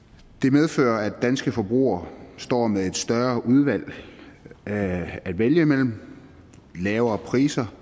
medfører at danske forbrugere står med et større udvalg at at vælge imellem lavere priser